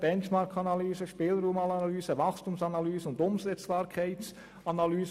Benchmarkanalyse, Spielraumanalyse, Wachstumsanalyse und Umsetzbarkeitsanalyse.